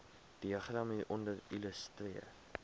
diagram hieronder illustreer